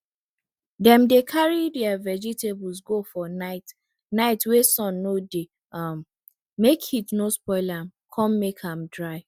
dem dey carry dere vegetable go for night night wey sun no dey um make heat no spoil am con make am dry